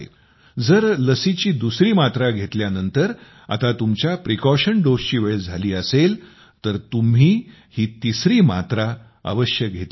जर लसीची दुसरी मात्रा घेतल्यानंतर आता तुमच्या सावधगिरीच्या मात्रेची वेळ झाली असेल तर तुम्ही ही तिसरी मात्रा अवश्य घेतली पाहिजे